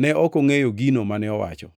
(Ne ok ongʼeyo gino mane owacho.)